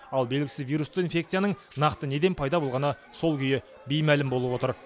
ал белгісіз вирусты инфекцияның нақты неден пайда болғаны сол күйі беймәлім болып отыр